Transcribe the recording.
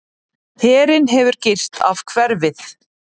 Herinn hefur girt af hverfið.